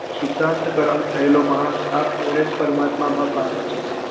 શુતાંત કારણ થયેલો માણસ આપ મેળે જ પરમાત્મા માં પામે છે